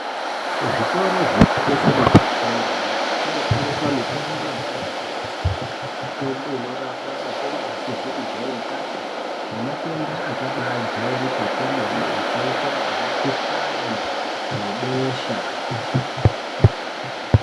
Kuzvitoro zvinotengese mitombo yanyamashi kunotengeswa mitombo yakati kuti inorapa matenda asizi kujairikapi nematenda akabajairika kwemene akaita semukhuhlane webesha.